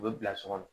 U bɛ bila so kɔnɔ